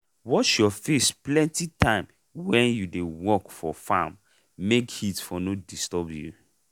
wash your face plenty time wen you dey work for farm make heat for no disturb you.